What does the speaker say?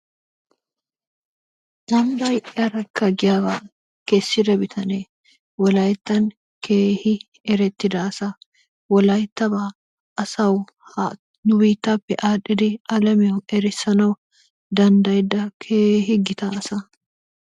"Ambbay arakka" giyaagaa kessida bitanee wolayittan keehi erettida asa. Wolayittabaa asawu ha nu biittaappe aadhdhidi alamiyawu erissanawu danddayida keehi gita asa.